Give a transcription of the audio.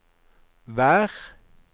vær